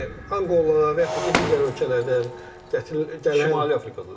Yəni Anqola və yaxud da ki digər ölkələrdən gələn Şimali Afrika.